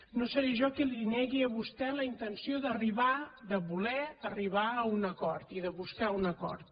no seré jo qui li negui a vostè la intenció d’arribar de voler arribar a un acord i de buscar un acord